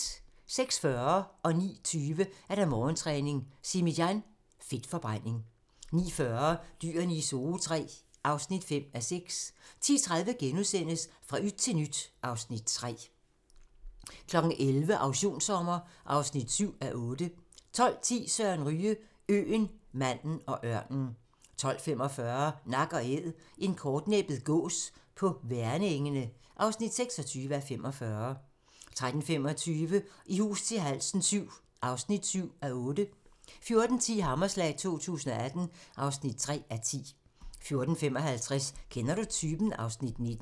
06:40: Morgentræning: Simi Jan - Fedtforbrænding 09:20: Morgentræning: Simi Jan - Fedtforbrænding 09:40: Dyrene i Zoo III (5:6) 10:30: Fra yt til nyt (Afs. 3)* 11:00: Auktionssommer (7:8) 12:10: Søren Ryge: Øen, manden og ørnen 12:45: Nak & Æd - en kortnæbbet gås på Værnengene (26:45) 13:25: I hus til halsen VII (7:8) 14:10: Hammerslag 2018 (3:10) 14:55: Kender du typen? (Afs. 19)